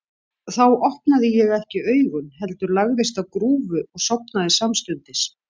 Þá opnaði ég ekki augun, heldur lagðist á grúfu og sofnaði samstundis.